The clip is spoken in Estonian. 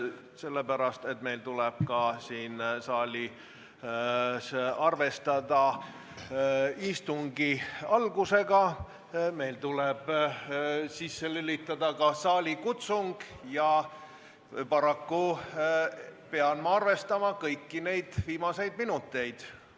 Sellepärast, et meil tuleb siin saalis arvestada ka istungi algusega, meil tuleb sisse lülitada ka saalikutsung ja paraku pean ma arvestama kõiki neid viimaseid minuteid.